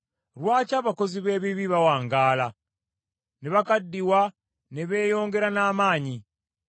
Lwaki abakozi b’ebibi bawangaala, ne bakaddiwa ne beeyongera n’amaanyi?